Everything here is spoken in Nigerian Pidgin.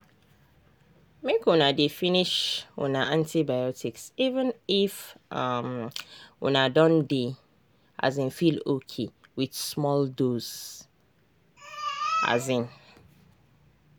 make una dey finish una antibiotics even if um una don dey um feel okay with small dose. um